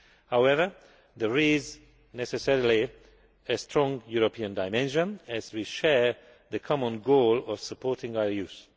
However, there is necessarily a strong European dimension as we share the common goal of supporting our youth.